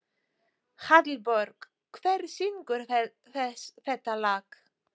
Hallborg, hver syngur þetta lag?